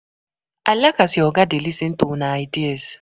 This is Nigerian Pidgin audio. I like as your oga dey lis ten to una ideas.